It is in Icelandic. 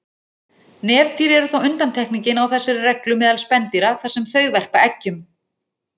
Nefdýr eru þó undantekningin á þessari reglu meðal spendýra þar sem þau verpa eggjum.